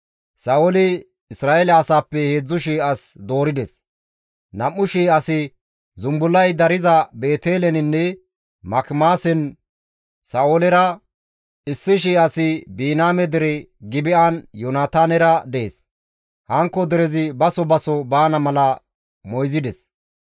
Sa7ooli Isra7eele asaappe 3,000 as doorides; 2,000 asi zumbullay dariza Beeteleninne Makimaasen Sa7oolera, 1,000 asi Biniyaame dere Gibi7an Yoonataanera dees; hankko derezi baso baso baana mala moyzides.